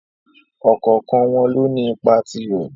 Ọ̀kọ̀ọ̀kan wọn lóní ipa tirẹ́.